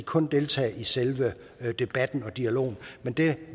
kun deltage i selve debatten og dialogen men det